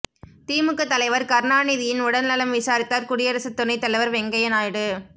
திமுக தலைவர் கருணாநிதியின் உடல்நலம் விசாரித்தார் குடியரசு துணைத் தலைவர் வெங்கய்ய நாயுடு